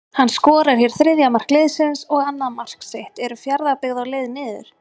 HANN SKORAR HÉR ÞRIÐJA MARK LIÐSINS OG ANNAÐ MARK SITT, ERU FJARÐABYGGÐ Á LEIÐ NIÐUR???